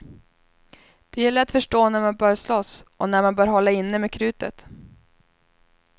Det gäller att förstå när man bör slåss och när man bör hålla inne med krutet.